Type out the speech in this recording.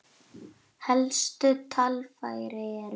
Helstu talfæri eru